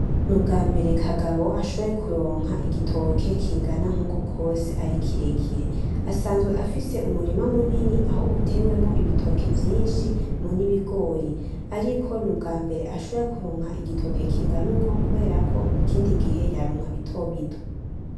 N'ubwambere Kagabo ashoboye kuronka igitoke kingana nkukwo kose ari kirekire, asanzwe afise umurima munini aho utewemwo ibitoke vyinshi n'ibigori, ariko n'ubwambere ashoboye kuronka igitoke kingana ukwo kubera ko ikindi gihe yaronka bitobito.